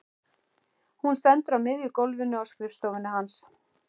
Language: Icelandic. Hún stendur á miðju gólfinu á skrifstofunni hans.